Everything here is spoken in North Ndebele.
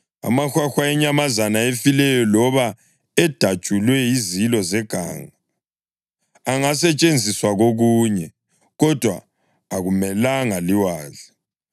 Amahwahwa enyamazana ezifeleyo loba edatshulwe yizilo zeganga angasetshenziswa kokunye, kodwa akumelanga liwadle.